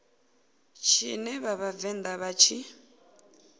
tshine vha vhavenḓa vha tshi